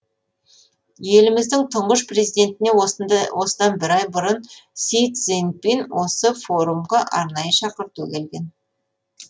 еліміздің тұңғыш президентіне осыдан бір ай бұрын си цзиньпин осы форумға арнайы шақырту жіберген